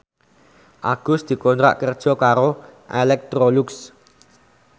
Agus dikontrak kerja karo Electrolux